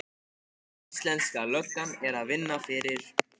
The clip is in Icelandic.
Íslenska löggan er að vinna fyrir